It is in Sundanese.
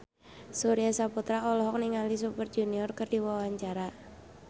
Surya Saputra olohok ningali Super Junior keur diwawancara